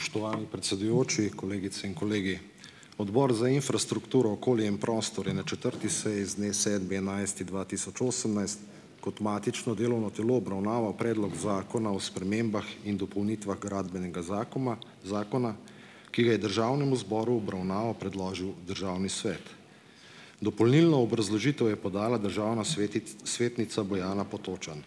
Spoštovani predsedujoči, kolegice in kolegi! Odbor za infrastrukturo, okolje in prostor je na četrti seji, z dne sedmi enajsti dva tisoč osemnajst kot matično delovno telo obravnaval Predlog zakona o spremembah in dopolnitvah Gradbenega zakuma, zakona ki ga je državnemu zboru v obravnavo predložil državni svet. Dopolnilno obrazložitev je podala državna svetnica, Bojana Potočan.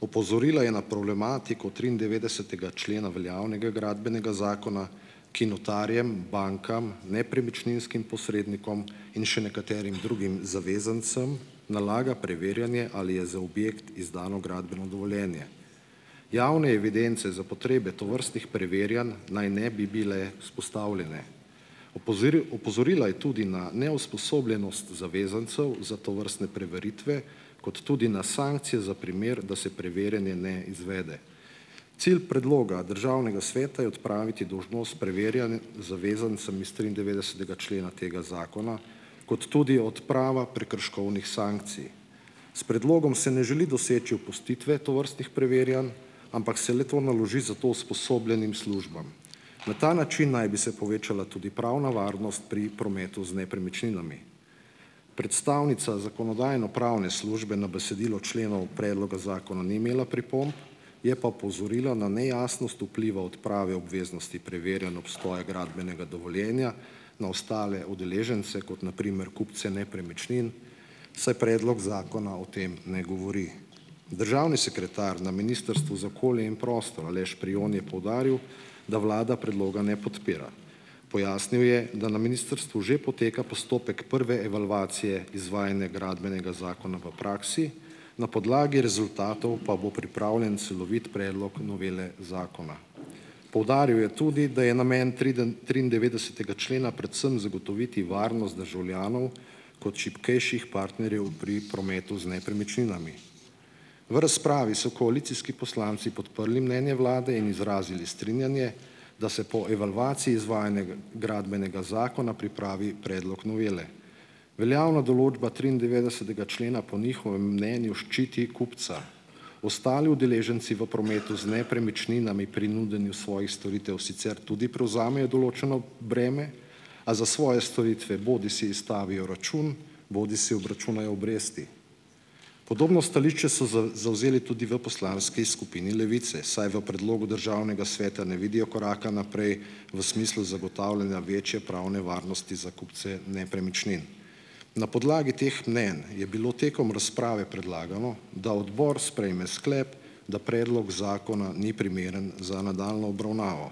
Opozorila je na problematiko triindevetdesetega člena veljavnega Gradbenega zakona, ki notarjem, bankam, nepremičninskim posrednikom in še nekaterim drugim zavezancem nalaga preverjanje, ali je za objekt izdano gradbeno dovoljenje. Javne evidence za potrebe tovrstnih preverjanj naj ne bi bile vzpostavljene. opozorila je tudi na neusposobljenost zavezancev za tovrstne preveritve, kot tudi na sankcije za primer, da se preverjanje ne izvede. Cilj predloga državnega sveta je odpraviti dolžnost preverjanj zavezancem iz triindevetdesetega člena tega zakona, kot tudi odprava prekrškovnih sankcij. S predlogom se ne želi doseči opustitve tovrstnih preverjanj, ampak se le-to naloži za to usposobljenim službam. Na ta način naj bi se povečala tudi pravna varnost pri prometu z nepremičninami. Predstavnica zakonodajno-pravne službe na besedilo členov predloga zakona ni imela pripomb, je pa opozorila na nejasnost vpliva odprave obveznosti preverjanj obstoja gradbenega dovoljenja na ostale udeležence, kot na primer kupce nepremičnin, saj predlog zakona o tem ne govori. Državni sekretar na Ministrstvu za okolje in prostor, Aleš Prijon je poudaril, da vlada predloga ne podpira. Pojasnil je, da na ministrstvu že poteka postopek prve evalvacije izvajanja Gradbenega zakona v praksi, na podlagi rezultatov pa bo pripravljen celovit predlog novele zakona. Poudaril je tudi, da je namen triindevetdesetega člena predvsem zagotoviti varnost državljanov kot šibkejših partnerjev pri prometu z nepremičninami. V razpravi so koalicijski poslanci podprli mnenje vlade in izrazili strinjanje, da se po evalvaciji izvajanja Gradbenega zakona pripravi predlog novele. Veljavna določba triindevetdesetega člena po njihovem mnenju ščiti kupca. Ostali udeleženci v prometu z nepremičninami pri nudenju svojih storitev sicer tudi prevzamejo določeno breme, a za svoje storitve bodisi izstavijo račun bodisi obračunajo obresti. Podobno stališče so zavzeli tudi v poslanski skupini Levice, saj v predlogu državnega sveta ne vidijo koraka naprej, v smislu zagotavljanja večje pravne varnosti za kupce nepremičnin. Na podlagi teh mnenj je bilo tekom razprave predlagano, da odbor sprejme sklep, da predlog zakona ni primeren za nadaljnjo obravnavo.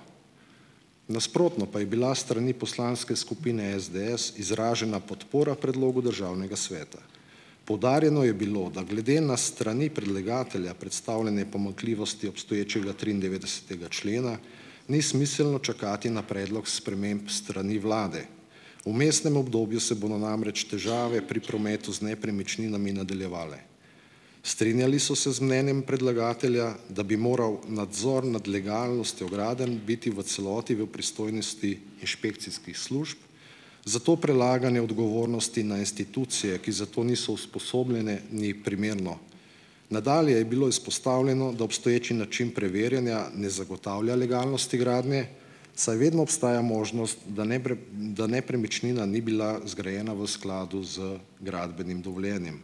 Nasprotno pa je bila s strani poslanske skupine SDS izražena podpora predlogu državnega sveta. Poudarjeno je bilo, da glede na strani predlagatelja predstavljene pomanjkljivosti obstoječega triindevetdesetega člena ni smiselno čakati na predlog sprememb s strani vlade. Vmesnem obdobju se bodo namreč težave pri prometu z nepremičninami nadaljevale. Strinjali so se z mnenjem predlagatelja, da bi moral nadzor nad legalnostjo gradenj biti v celoti v pristojnosti inšpekcijskih služb, zato prelaganje odgovornosti na institucije, ki za to niso usposobljene, ni primerno. Nadalje je bilo izpostavljeno, da obstoječi način preverjanja ne zagotavlja legalnosti gradnje, saj vedno obstaja možnost, da da nepremičnina ni bila zgrajena v skladu z gradbenim dovoljenjem.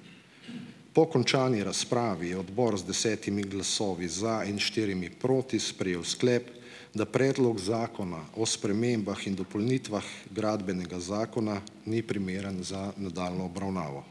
Po končani razpravi je odbor z desetimi glasovi za in štirimi proti sprejel sklep, da Predlog zakona o spremembah in dopolnitvah Gradbenega zakona ni primeren za nadaljnjo obravnavo.